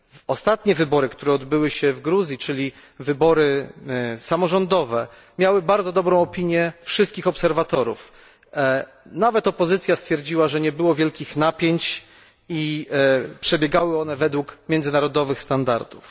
Ostatnie wybory, które odbyły się w Gruzji, czyli wybory samorządowe, miały bardzo dobrą opinię wszystkich obserwatorów, nawet opozycja stwierdziła, że nie było wielkich napięć i przebiegały one według międzynarodowych standardów.